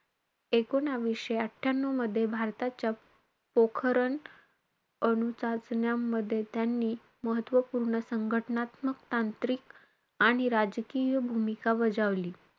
एकूणवीसशे अठ्ठयानुमध्ये, भारताच्या पोखरण अणुचाचण्यांमध्ये त्यांनी महत्वपूर्ण संघटनात्मक, तांत्रिक आणि राजकीय भूमिका बजावली.